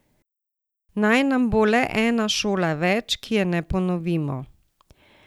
Naj nam bo le ena šola več, ki je ne ponovimo.